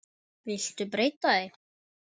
Viltu breyta því